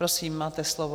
Prosím, máte slovo.